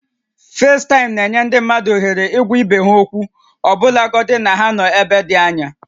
Facetime na-enye ndị mmadụ ohere ịhụ na ịgwa ibe ha okwu ọbụlagodi na ha nọ n'ebe dị anya